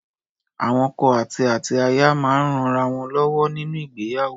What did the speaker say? Awọn ọkọ àti àti aya máa ń rán ara wọn lọ́wọ́ nínú ìgbéyàwó.